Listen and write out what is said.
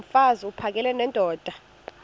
mfaz uphakele nendoda